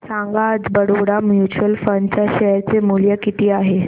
सांगा आज Baroda mutual fund च्या शेअर चे मूल्य किती आहे